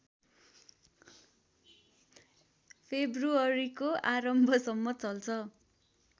फेब्रुअरीको आरम्भसम्म चल्छ